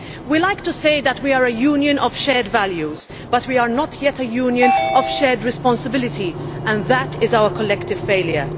We like to say that we are a Union of shared values, but we are not yet a Union of shared responsibility and that is our collective failure.